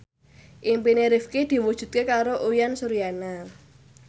impine Rifqi diwujudke karo Uyan Suryana